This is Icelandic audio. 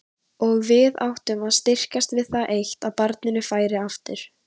Og við sem áttum að styrkjast við það eitt að barninu færi aftur.